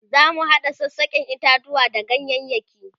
zamu hada sassaken itatuwa da ganyayaki